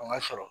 O ka sɔrɔ